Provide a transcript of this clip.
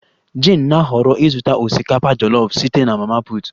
Jane na-ahọrọ ịzụta osikapa jollof site na mama put